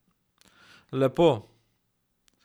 Lepo!